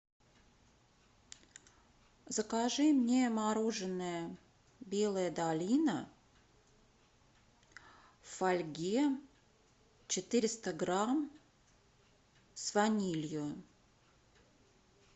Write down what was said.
закажи мне мороженое белая долина в фольге четыреста грамм с ванилью